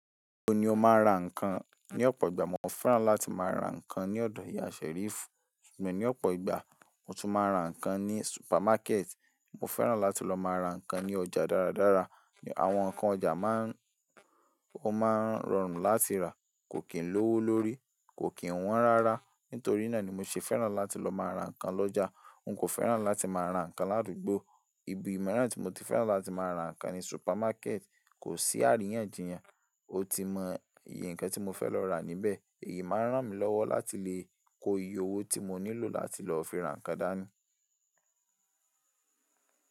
Níbo ni o máa ń ra ǹkan? Ní ọ̀pọ̀ ìgbà mo fẹ́ràn láti má ra ǹkan ní ọ̀dọ̀ ìyá Ṣẹ́rífù, ṣùgbọ́n ní ọ̀pọ̀ ìgbà mo tún máa ń ra ǹkan ní supermákẹ́ẹ̀tì. Mo fẹ́ràn láti lọ má ra ǹkan ní ọjà dáradára. Àwọn ǹkan ọjà má ń, o máa ń rọrùn láti rà, kò kí ń lówó lórí, kò kí ń wọ́n rárá. Nítorí náà ni mo ṣe fẹ́ràn láti lọ máa ra ǹkan lọ́jà. N kò féràn láti máa ra nnkan làdúgbò ìbì míràn tí mo ti féràn láti ma ra nnkan ni supermarket. Kò sí àríyànjiyàn, o ti mọ iyì ǹkan tí mo fẹ́ lọ rà níbẹ̀. Èyí máa ń ràn mí lọ́wọ́ láti lè ko iye owó tí mo nílò láti lọ fi ra ǹkan dání.